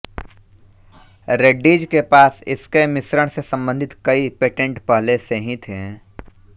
रेड्डीज के पास इसके मिश्रण से संबंधित कई पेटेंट पहले से ही थे